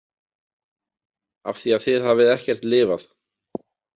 Af því að þið hafið ekkert lifað.